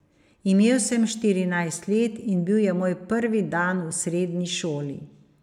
Imel sem štirinajst let in bil je moj prvi dan v srednji šoli.